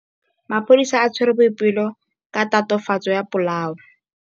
Maphodisa a tshwere Boipelo ka tatofatsô ya polaô.